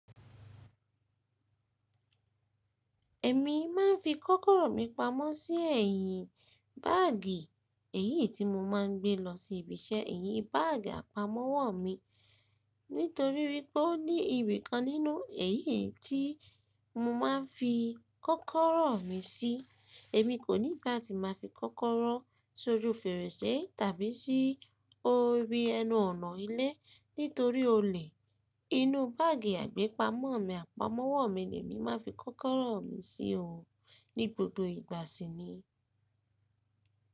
Èmi máa ń fi kọ́kọ́rọ́ mi pamọ́ sí ẹ̀yìn báàgì èyí tí mo máa ń gbé lọ sí ibi iṣẹ́. Èyín báàgì àpamọ́wọ́ mi. Nítorí wípé ó ní ibìkan nínú èyí tí mo máa ń fi kọ́kọ́rọ́ mi sí, èmi kò ní ìpà tí màá fi kọ́kọ́rọ́ sójú fèrèsé tàbí sí orí ẹnu ọ̀nà ilé nítorí olè. Inú báàgì àgbépamọ́ mi, àpamọ́wọ́ mi ni èmi máa ń fi kọ́kọ́rọ́ mi sí òun ní gbogbo ìgbà síní.